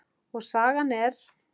Og sagan er